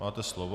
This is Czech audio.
Máte slovo.